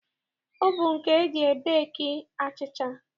Ovunu ka e ji ebeeki achịcha.